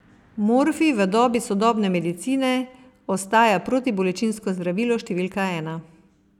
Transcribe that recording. Morfij v dobi sodobne medicine ostaja protibolečinsko zdravilo številka ena.